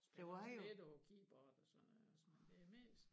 Spiller også lidt på keybord og sådan noget også men det mest